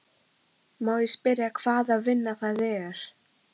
Má ég spyrja hvaða vinna það er?